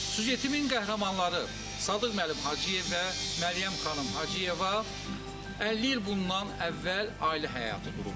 Süjetimin qəhrəmanları Sadıq müəllim Hacıyev və Məryəm xanım Hacıyeva 50 il bundan əvvəl ailə həyatı qurublar.